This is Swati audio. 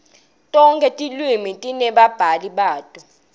tonkhe tilwimi tinebabhali bato